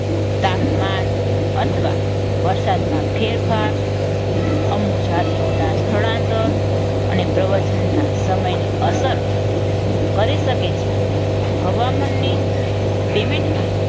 તાપમાના અથવા વરસાદમાં ફેરફાર અમુક જાતિઓના સ્થળાંતર અને પ્રવચનના સમયને અસર કરી શકે છે. હવામાનની પેમેન્ટમાં